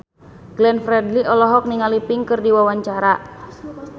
Glenn Fredly olohok ningali Pink keur diwawancara